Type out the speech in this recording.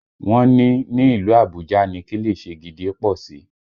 Wọ́n ní ní ìlú Àbújá ni kilichi gidi pọ̀ sí